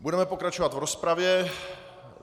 Budeme pokračovat v rozpravě.